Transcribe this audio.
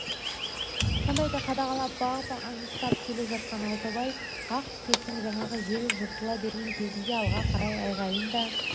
сондайды қадағалап бағып аңыстап келе жатқан алтыбай ақ түтектің жаңағы шелі жыртыла берген кезінде алға қарай айғайын да